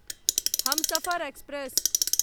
Humsafar express